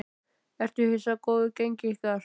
Ertu hissa á góðu gengi ykkar?